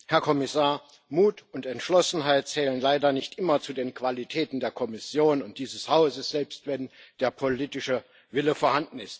Frau Präsidentin, Herr Kommissar! Mut und Entschlossenheit zählen leider nicht immer zu den Qualitäten der Kommission und dieses Hauses, selbst wenn der politische Wille vorhanden ist.